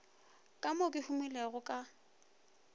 ka mo ke humilego ka